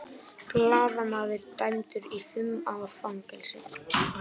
Blaðamaður dæmdur í fimm ára fangelsi